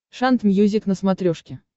шант мьюзик на смотрешке